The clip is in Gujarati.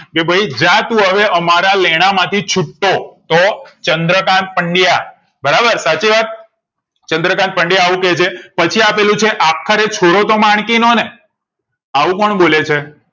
કે ભઈ જાતું હવે અમારા લેણાં માંથી છુટ્ટો તો ચંદ્રકાન્ત પંડયા બરાબર સાચી વાત ચંદ્રકાન્ત પંડયા આવું કે છે પછી આપેલું છે આખરે છોરો તો માણકી નો ને એવું કોણ બોલે છે